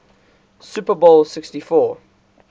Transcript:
super bowl xliv